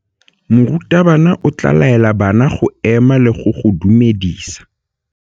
Morutabana o tla laela bana go ema le go go dumedisa.